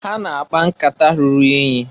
Ha na-akpa nkata ruru inyi.